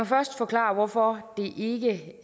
først forklare hvorfor det ikke